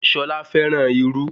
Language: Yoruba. Ṣolá fẹ́ràn irú